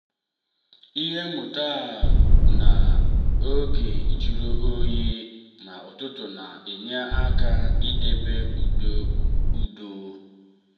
ihe mmụta a bụ na n'oge jụrụ oyi n'ụtụtụ na-enye aka idebe ụda udo.